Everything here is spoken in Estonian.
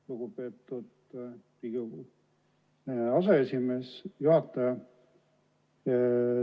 Lugupeetud Riigikogu aseesimees, istungi juhataja!